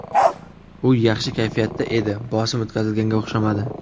U yaxshi kayfiyatda edi, bosim o‘tkazilganga o‘xshamadi.